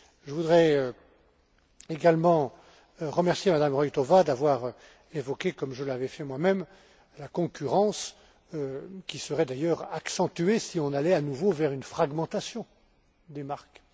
Je voudrais également remercier Mme Roithová d'avoir évoqué, comme je l'avais fait moi même, la concurrence, qui serait d'ailleurs accentuée si on allait à nouveau vers une fragmentation des marques.